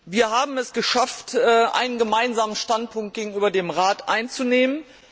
Wir haben es geschafft, einen gemeinsamen Standpunkt gegenüber dem Rat einzunehmen.